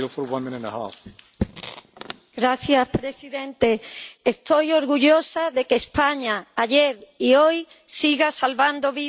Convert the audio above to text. Señor presidente, estoy orgullosa de que España ayer y hoy siga salvando vidas.